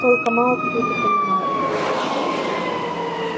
только мало кто это понимает